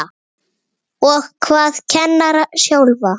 Og hvað kennara sjálfa?